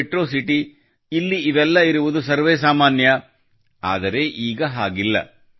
metro city ಅಲ್ಲಿ ಇವೆಲ್ಲ ಇರುವುದು ಸರ್ವೇಸಾಮಾನ್ಯ ಆದರೆ ಈಗ ಹಾಗಿಲ್ಲ